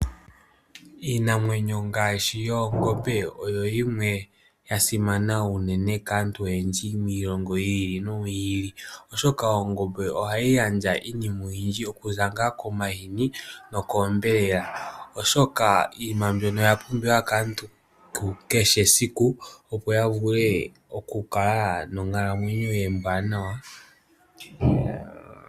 Yimwe yomiinamwenyo ngaashi yoongombe oyo hayi gandja esimano kaantu oyendji miilongo yili noyili oshoka ohayi gandja omahini, onyama. Iilongomwa mbika oya pumbiwa molwaashoka oyina uundjolowele konkalamwenyo yomuntu kehe.